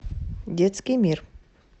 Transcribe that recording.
детский мир